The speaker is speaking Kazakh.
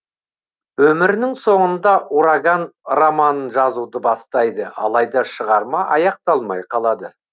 өмірінің соңында ураган романын жазуды бастайды алайда шығарма аяқталмай қалады